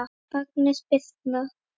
Agnes Birtna.